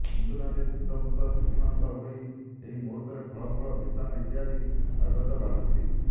ହିନ୍ଦୁନାରୀ ଶୁଦ୍ଧପୂତ ଶୁଚିମନ୍ତ ହୋଇ ଏହି ମୂହୁର୍ତ୍ତରେ ଫଳମୂଳ ଓ ମିଷ୍ଟାନ୍ନ ଇତ୍ୟାଦି ନୈବେଦ୍ୟ ବାଢ଼ନ୍ତି